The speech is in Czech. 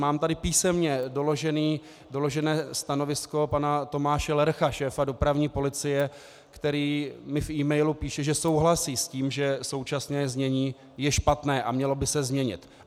Mám tady písemně doložené stanovisko pana Tomáše Lercha, šéfa dopravní policie, který mi v emailu píše, že souhlasí s tím, že současné znění je špatné a mělo by se změnit.